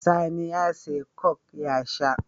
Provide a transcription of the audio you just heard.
Sani ya siya coke ya sha